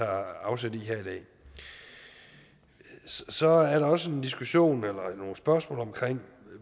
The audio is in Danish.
afsæt i her i dag så er der også en diskussion eller nogle spørgsmål om